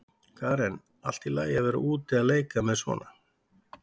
Karen: Allt í lagi að vera úti að leika með svona?